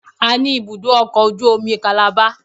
A ní ibùdó ọkọ̀ ojú omi Calabar